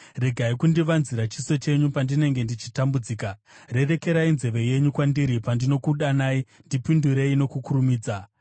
Regai kundivanzira chiso chenyu pandinenge ndichitambudzika. Rerekerai nzeve yenyu kwandiri; pandinokudanai, ndipindurei nokukurumidza.